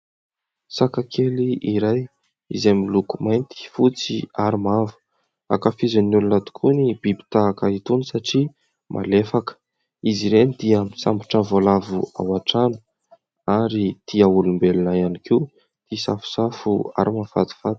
Saka kely iray izay miloko mainty, fotsy ary mavo. Ankafizin'ny olona tokoa ny biby tahaka itony satria malefaka. Izy ireny dia misambotra voalavo ao an-trano ary tia olombelona ihany koa isafosafo ary mahafatifaty.